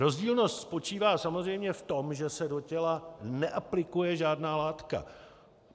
Rozdílnost spočívá samozřejmě v tom, že se do těla neaplikuje žádná látka.